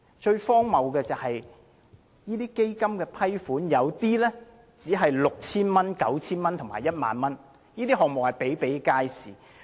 最荒謬的是，基金批出的資助額有部分是 6,000 元、9,000 元和 10,000 元，有關項目比比皆是。